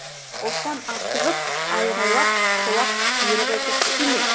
оспан асығып айғайлап шолақ бұйрық етіп тиме